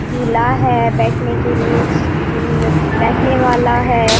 झूला है बैठने के लिए उम्म बैठने वाला है।